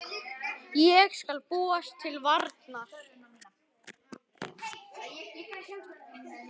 Ég skal búast til varnar.